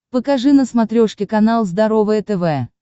покажи на смотрешке канал здоровое тв